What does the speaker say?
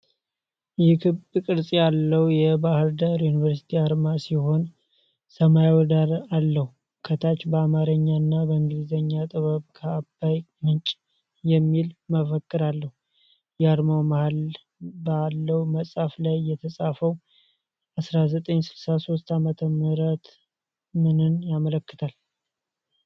ይህ ክብ ቅርጽ ያለው የባህር ዳር ዩኒቨርሲቲ አርማ ሲሆን ሰማያዊ ዳራ አለው። ከታች በአማርኛ እና በእንግሊዝኛ "ጥበብ ከአባይ ምንጭ" የሚል መፈክር አለ። የአርማው መሃል ባለው መጽሐፍ ላይ የተጻፈው 1963 ዓመት ምንን ያመለክታል?